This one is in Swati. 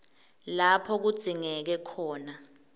lapho kudzingeke khona